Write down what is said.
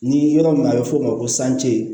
Ni yɔrɔ min a bɛ f'o ma ko